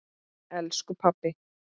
Elsku pabbi!